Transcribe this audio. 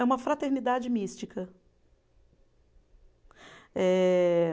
É uma fraternidade mística. Eh